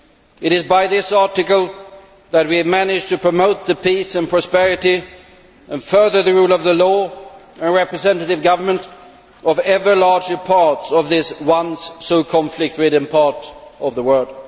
It is by this Article that we have managed to promote peace and prosperity and further the rule of law and representative government in ever larger parts of this once so conflict ridden part of the world.